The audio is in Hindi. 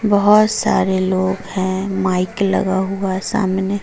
बहोत सारे लोग हैं। माइक लगा हुआ है सामने।